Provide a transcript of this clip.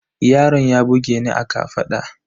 Yaron ya bugeni a kafaɗa